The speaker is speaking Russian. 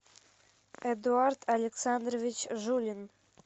эдуард александрович жулин